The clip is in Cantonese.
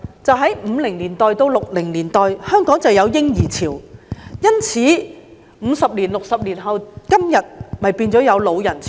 在1950年代至1960年代，香港有"嬰兒潮"，因此，五六十年後的今天變相有"老人潮"。